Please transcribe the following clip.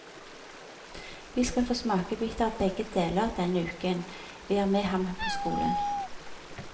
Vi skal få smakebiter av begge deler denne uken vi er med ham på skolen.